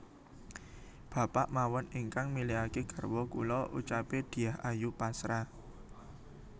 Bapa mawon ingkang milihake garwa kula ucape Dyah Ayu pasrah